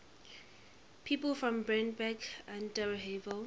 people from brandenburg an der havel